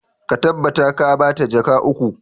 Ka tabbata ka ba ta jaka uku!